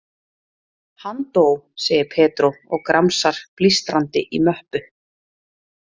Hann dó, segir Pedro og gramsar blístrandi í möppu.